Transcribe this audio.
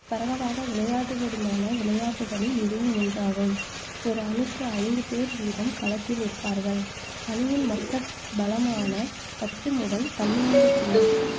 பரவாலாக விளையாடப்படுவதுமான விளையாட்டுக்களில் இதுவும் ஒன்றாகும் ஒரு அணிக்கு ஐந்து பேர் வீதம் களத்தில் இருப்பார்கள். அணியின் மொத்த பலமான பத்து முதல் பன்னிரெண்டு பேர்